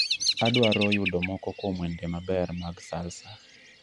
adwaro yudo moko kuom wende maber mag salsa